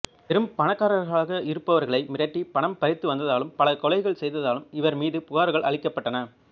பெரும் பணக்காரர்களாக இருப்பவர்களை மிரட்டி பணம் பறித்துவந்ததாலும் பல கொலைகள் செய்ததாலும் இவர் மீது புகார்கள் அளிக்கப்பட்டன